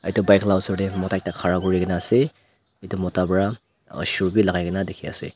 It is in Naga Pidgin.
etu bike la osor deh mota ekta khara kurigina asey etu mota bra aro shoe bi lagai gina dikhi asey.